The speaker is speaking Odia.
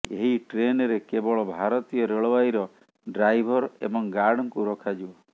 ଏହି ଟ୍ରେନରେ କେବଳ ଭାରତୀୟ ରେଳବାଇର ଡ୍ରାଇଭର ଏବଂ ଗାର୍ଡଙ୍କୁ ରଖାଯିବ